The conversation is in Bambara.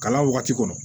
Kalan wagati kɔnɔ